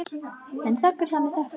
Hann þiggur það með þökkum.